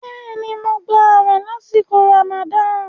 Bẹ́ẹ̀ni, mo gbà àwẹ̀ lásìkò Ramadan.